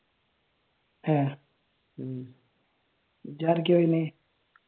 ആഹ് ഇജ്ജാരൊക്കെയാ വരണേ?